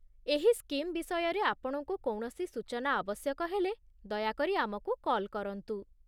ଏହି ସ୍କିମ୍ ବିଷୟରେ ଆପଣଙ୍କୁ କୌଣସି ସୂଚନା ଆବଶ୍ୟକ ହେଲେ, ଦୟାକରି ଆମକୁ କଲ୍ କରନ୍ତୁ